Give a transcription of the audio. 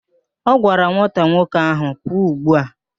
Ọ gwara nwata nwoke ahụ, pụọ ugbu a!